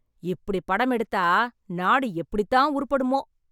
இப்படி படம் எடுத்தா நாடு எப்படித்தான் உருப்படுமோ